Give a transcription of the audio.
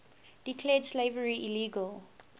declared slavery illegal